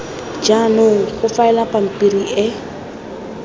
jaanong go faelwa pampiri e